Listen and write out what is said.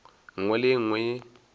nngwe le ye nngwe ye